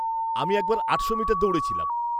আমি একবার আটশো মিটার দৌড়েছিলাম।